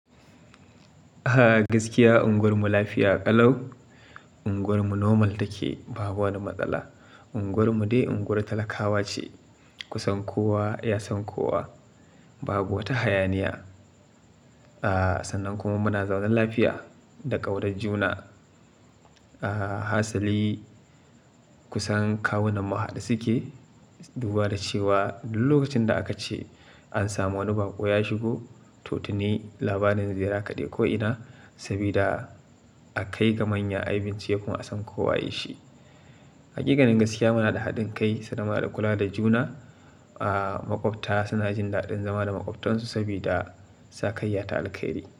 A gaskiya unguwarmu lafiya ƙalau. Unguwarmu normal take, ba wani matsala. Unguwarmu dai unguwar talakawa ce. Kusan kowa ya san kowa. Ba wata hayaniya. A sannan kuma muna zaune lafiya da ƙaunar juna. A hasali kusan kawunan mu haɗe suke, duba da cewa duk lokacin da aka ce an samu wani bako ya shigo, to tuni labarin zira kaɗai ko ina. Sabida a kai ga manya a bincike kuma an san ko waye shi. Hakikanin gaskiya muna da haɗin kai, sannan da kula da juna. A maƙwabta suna jin daɗin zama da maƙwabtansu saboda sakayya ta alƙairi.